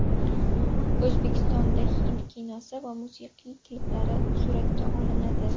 O‘zbekistonda hind kinosi va musiqiy kliplari suratga olinadi.